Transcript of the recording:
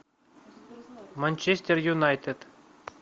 манчестер юнайтед